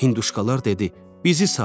Hinduşkalar dedi: bizi sat.